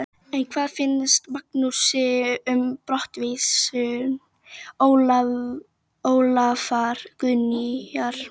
En hvað finnst Magnúsi um brottvísun Ólafar Guðnýjar?